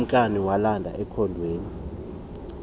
ukumkani walanda ekhondweni